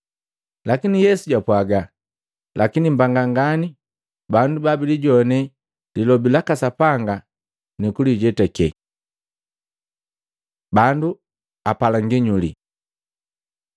Lakini Yesu japwaga, “Lakini mbanga ngani bandu babilijone lilobi laka Sapanga nukulijetake.” Bandu apala nginyuli Matei 12:38-42